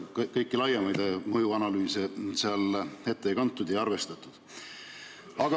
Ka kõiki laiemaid mõjuanalüüse seal ette ei kantud, neid ei ole arvestatud.